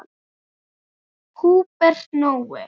Húbert Nói.